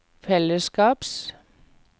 fellesskaps